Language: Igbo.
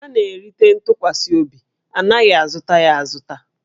A na-erite ntụkwasị obi, a naghị azụta ya azụta